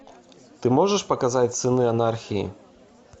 ты можешь показать сыны анархии